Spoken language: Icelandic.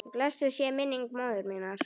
Blessuð sé minning móður minnar.